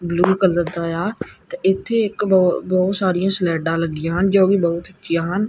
Blue colour ਦਾ ਆ ਤੇ ਇਥੇ ਇਕ ਬਹੁਤ ਸਾਰੀਆਂ ਸਲਾਈਡਾ ਲੱਗੀਆਂ ਹਨ ਜੋ ਕਿ ਬਹੁਤ ਉੱਚੀਆਂ ਹਨ।